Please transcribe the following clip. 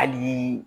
Hali